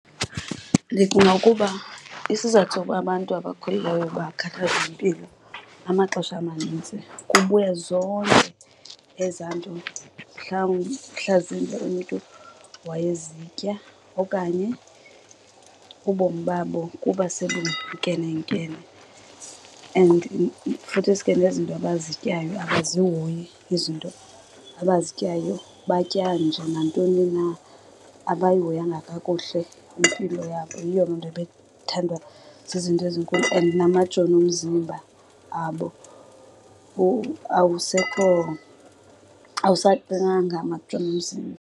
Ndicinga ukuba isizathu soba abantu abakhulileyo bakhathazwe yimpilo amaxesha amanintsi kubuya zonke ezaa nto mhlasimbe umntu wayezitya okanye ubomi babo kuba sebunkenenkene. And futhisi ke nezinto abazityayo, abazihoyi izinto abazityayo batya nje nantoni na. Abayihoyanga kakuhle impilo yabo, yiyo loo nto bethandwa zizinto ezinkulu and namajoni omzimba abo awusekho, awusaqinanga amajoni omzimba.